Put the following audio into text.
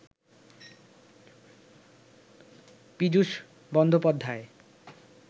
Piyush Bandopadhyay